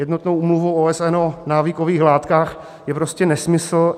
Jednotnou úmluvou OSN o návykových látkách je prostě nesmysl.